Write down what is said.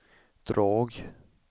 drag